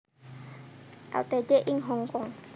Ltd ing Hongkong